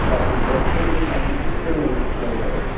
काफी व्रक चेंज और काफी खूबसूरन लग रहे हैं।